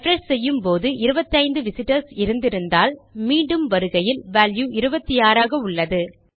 refresh செய்யும் போது 25 visitors இருந்திருந்தால் மீண்டும் வருகையில் வால்யூ 26 ஆக உள்ளது